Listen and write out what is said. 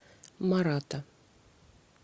марата